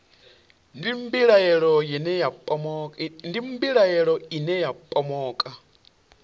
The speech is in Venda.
ndi mbilahelo ine ya pomoka